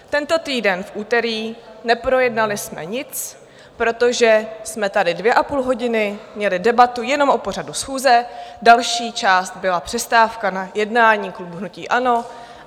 Tento týden v úterý neprojednali jsme nic, protože jsme tady dvě a půl hodiny měli debatu jenom o pořadu schůze, další část byla přestávka na jednání klubu hnutí ANO.